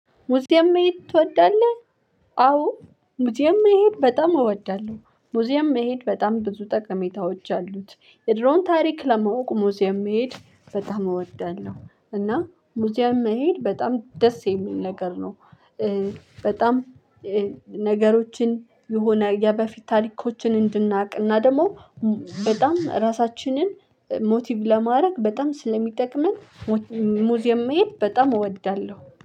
ሙዚየም መሄድ ትወዳለህ? አዎ ሙዚየም መሄድ በጣም እወዳለሁ ሙዚየም መሄድ በጣም ብዙ ጠቀሜታዎች አሉት የድሮን ታሪክ ለማወቅ ሙዚየም መሄድ በጣም እወዳለሁ እና ሙዚየም መሄድ በጣም ደስ የሚል ነገር ነው። በጣም ነገሮችን የሆነ የበፊት ታሪኮችን እንድናቅ እና ደግሞ በጣም ራሳችንን ሞቲቭ ለማድረግ በጣም ስለሚጠቅመን። ሙዚየም መሄድ በጣም እወዳለሁ